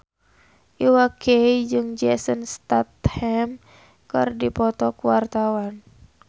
Iwa K jeung Jason Statham keur dipoto ku wartawan